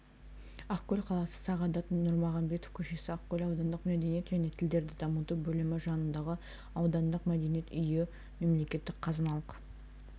ақкөл қаласы сағадат нұрмағамбетов көшесі ақкөл аудандық мәдениет және тілдерді дамыту бөлімі жанындағы аудандық мәдениет үйі мемлекеттік қазыналық